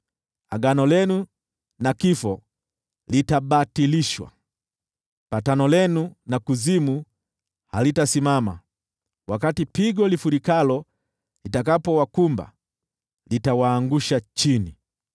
Agano lenu na kifo litabatilishwa, patano lenu na kuzimu halitasimama. Wakati pigo lifurikalo litakapowakumba, litawaangusha chini.